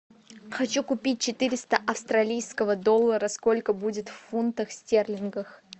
хочу купить четыреста австралийского доллара сколько будет в фунтах стерлингах